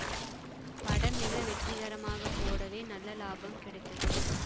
படம் மிக வெற்றிகரமாக ஓடவே நல்ல லாபம் கிடைத்தது